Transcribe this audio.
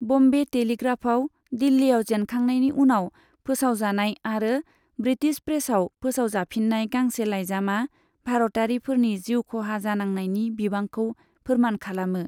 बम्बे टेलिग्राफाव दिल्लीयाव जेनखांनायनि उनाव फोसावजानाय आरो ब्रिटिश प्रेसआव फोसावजाफिन्नाय गांसे लाइजामा भारतारिफोरनि जिउखहा जानांनायनि बिबांखौ फोरमान खालामो।